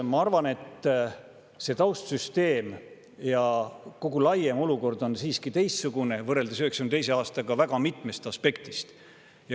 Mina arvan, et see taustsüsteem ja kogu laiem olukord on siiski teistsugune kui 1992. aastal, väga mitmest aspektist.